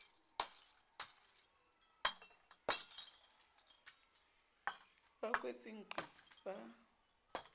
ba a kwetse nqi ba